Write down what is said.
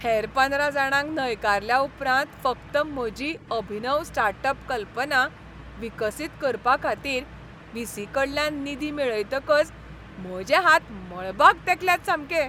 हेर पंदरा जाणांक न्हयकारल्या उपरांत फकत म्हजी अभिनव स्टार्ट अप कल्पना विकसीत करपाखातीर व्ही. सी.कडल्यान निधी मेळयतकच म्हजे हात मळबाक तेंकल्यात सामके.